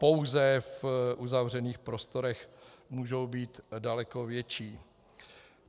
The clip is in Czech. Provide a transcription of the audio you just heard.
Pouze v uzavřených prostorech můžou být daleko větší.